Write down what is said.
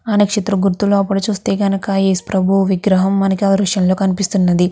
ఆ నక్షత్రం గరుతూ లోపల చూస్తే గనక యేసు ప్రభువు విగ్రహం మనకి ఈ దృశ్యం లో కనిపిస్తున్నది.